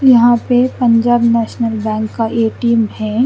यहा पे Punjab National Bank का ए_टी_एम है।